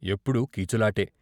ఎప్పుడూ కీచులాటే.